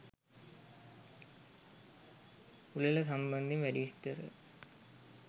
උළෙල සම්බන්ධයෙන් වැඩි විස්තර